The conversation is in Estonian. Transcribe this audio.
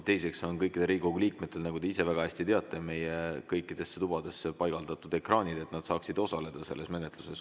Teiseks, kõikide Riigikogu liikmete, nagu te ise väga hästi teate, on meie kõikidesse tubadesse paigaldatud ekraanid, et nad saaksid osaleda selles menetluses.